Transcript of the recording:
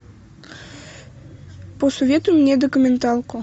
посоветуй мне документалку